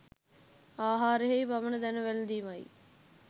ආහාරයෙහි පමණ දැන වැළැඳීමයි.